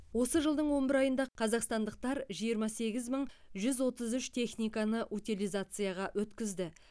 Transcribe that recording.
осы жылдың он бір айында қазақстандықтар жиырма сегіз мың жүз отыз үш техниканы утилизацияға өткізді